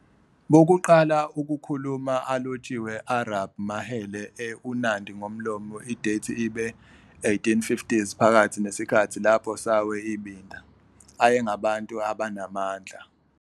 Bokuqala Ukukhuluma alotshiwe Arab mahele e uNandi ngomlomo idethi ibe 1850s phakathi nesikhathi lapho Sawe ibinda ayengabantu abanamandla.